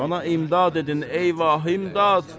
Bana imdad edin ey va imdad!